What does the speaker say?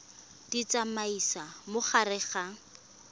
di tsamaisa mo gare ga